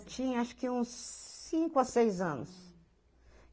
Eu tinha acho que uns cinco a seis anos.